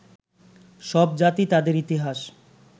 সব জাতি তাদের ইতিহাস